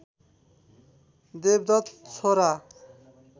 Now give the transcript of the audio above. देवदत्त छोरा